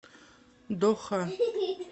доха